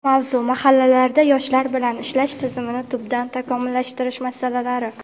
Mavzu: Mahallalarda yoshlar bilan ishlash tizimini tubdan takomillashtirish masalalari.